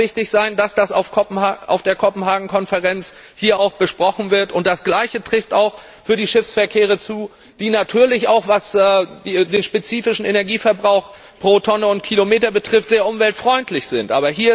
Es wird ganz wichtig sein, dass das auf der Kopenhagen Konferenz auch besprochen wird, und das Gleiche trifft auch auf den Schiffsverkehr zu, der natürlich auch was den spezifischen Energieverbrauch pro Tonne und Kilometer betrifft sehr umweltfreundlich ist.